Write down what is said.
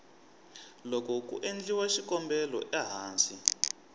loko ku endliwa xikombelo ehansi